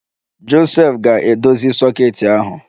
Josef ga-edozi soket ahụ